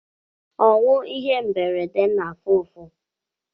Ọnwụ ihe mberede na afụ ụfụ